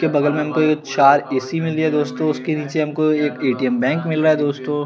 इसके बगल में हम को ये चार ए_सी मिली है दोस्तों उसके निचे हम को एक ए_टी_एम बैंक मिला दोस्तों--